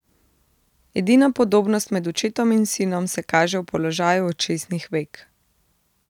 Edina podobnost med očetom in sinom se kaže v položaju očesnih vek.